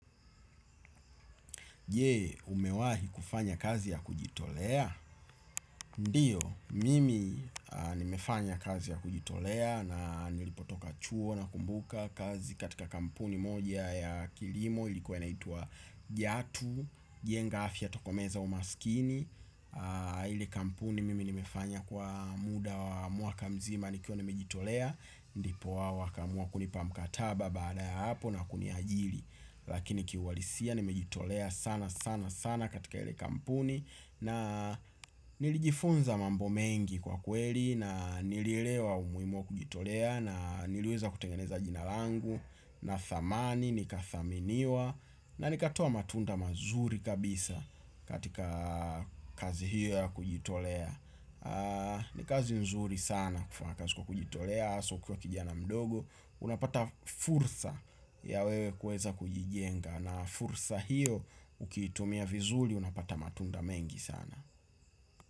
Je, umewahi kufanya kazi ya kujitolea? Ndiyo, mimi nimefanya kazi ya kujitolea na nilipotoka chuo nakumbuka kazi katika kampuni moja ya kilimo ilikuwa inaitwa Jatu, jenga afya tokomeza umasikini. Ile kampuni mimi nimefanya kwa muda wa mwaka mzima nikiwa nimejitolea, ndipo wao wakaamua kunipa mkataba baada ya hapo na kuniajiri. Lakini kiuhalisia, nimejitolea sana sana sana katika ile kampuni na nilijifunza mambo mengi kwakweli na nilielewa umuhimu wa kujitolea na niliweza kutengeneza jina langu na thamani nikathaminiwa na nikatoa matunda mazuri kabisa katika kazi hiyo ya kujitolea. Ni kazi nzuri sana kufanya kazi kwa kujitolea hasa ukiwa kijana mdogo, unapata fursa ya wewe kuweza kujijenga na fursa hiyo, ukiitumia vizuri unapata matunda mengi sana.